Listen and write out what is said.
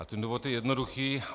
A ten důvod je jednoduchý.